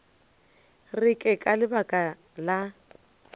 re ke ka lebaka la